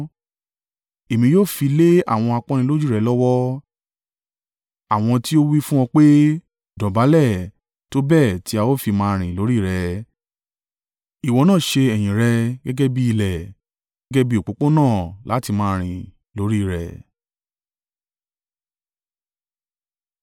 Èmi yóò fi lé àwọn apọ́nilójú rẹ lọ́wọ́, àwọn tí ó wí fún ọ pé, ‘Dọ̀bálẹ̀, tó bẹ́ẹ̀ tí a ó fi máa rìn lórí rẹ.’ Ìwọ náà ṣe ẹ̀yìn rẹ gẹ́gẹ́ bí ilẹ̀ gẹ́gẹ́ bí òpópónà láti máa rìn lórí i rẹ̀.”